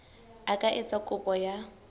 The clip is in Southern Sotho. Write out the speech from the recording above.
a ka etsa kopo ya